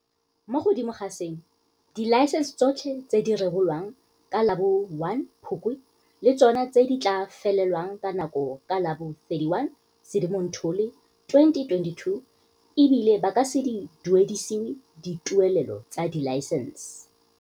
Mo godimo ga seno, dilaesense tsotlhe tse di rebolwang ka la bo 1 Phukwi le tsona di tla felelwa ke nako ka la bo 31 Sedimonthole 2022, e bile ba ka se duedisiwe dituelelo tsa dilaesense.